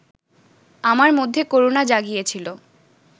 আমার মধ্যে করুণা জাগিয়েছিল